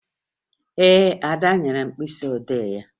Ee, Ada nyere m mkpịsịodee ya